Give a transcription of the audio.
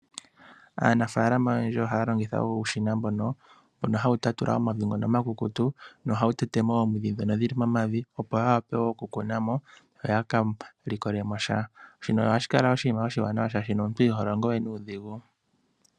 Aanafalama oyendji oha ya longitha uushina mbono, mbono ha wu tatula omavi ngono omakukutu, na oha wu tetemo oomwiidhi dhono dhili momavi opo ya wape okukunamo, yo yaka likolemo sha. Shino ohashikala oshinima oshiwanawa shaashi omuntu iho longo we nuudhigu.